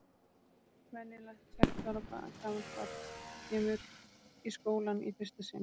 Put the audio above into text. Venjulegt sex ára gamalt barn kemur í skólann í fyrsta sinn.